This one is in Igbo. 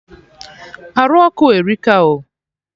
Arụ ọkụ a erika o